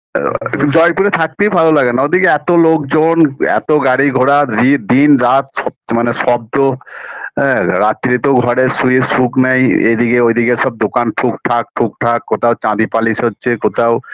আ জয়পুরে থাকতেই ভালো লাগে না ওদিকে এত লোকজন এত গাড়ি ঘোড়া ইট দিনরাত মানে শব্দ হ্যাঁ রাত্তিরে তো ঘরে শুয়ে সুখ নাই এইদিকে ওইদিকে সব দোকান ঠুটকঠাক ঠুকঠাক কোথাও চাবি পালিশ হচ্ছে কোথাও